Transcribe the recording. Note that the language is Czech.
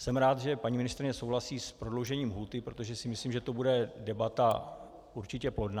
Jsem rád, že paní ministryně souhlasí s prodloužením lhůty, protože si myslím, že to bude debata určitě plodná.